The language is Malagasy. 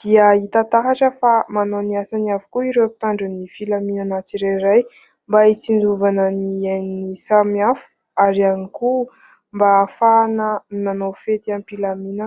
dia hita taratra fa manao ny asany avokoa ireo mpitandro ny filaminana tsirairay, mba hitsinjovana ny ain'ny samy hafa; ary ihany koa mba hahafahana manao fety am-pilaminana.